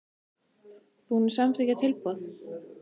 Búinn að samþykkja tilboð?